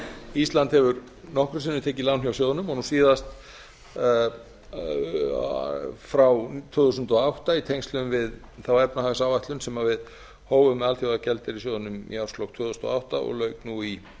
ísland hefur nokkrum sinnum tekið lán hjá sjóðnum og nú síðast frá tvö þúsund og átta í tengslum við þá efnahagsáætlun sem við hófum hjá alþjóðagjaldeyrissjóðnum í árslok tvö þúsund og átta og lauk nú í